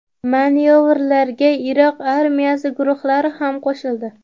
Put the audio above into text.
Manyovrlarga Iroq armiyasi guruhlari ham qo‘shildi.